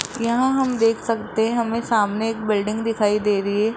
यहां हम देख सकते हैं हमें सामने एक बिल्डिंग दिखाई दे रही है।